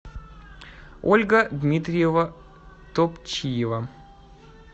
ольга дмитриева топчиева